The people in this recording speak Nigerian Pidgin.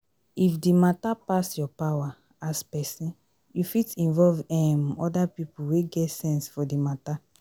if di matter pass your power as person you fit involve um oda pipo wey get sense for di matter